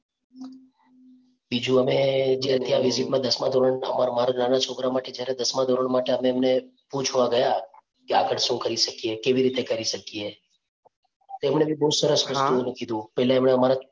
બીજું દસમા ધોરણ મારા નાના છોકરા માટે જ્યારે અમે દસમા ધોરણ માટે અમે એમણે પૂછવા ગયા કે આગળ શું કરી શકીએ, કેવી રીતે કરી શકીએ તો એમણે બહુ સરસ કીધું. પહેલા એમણે અમારા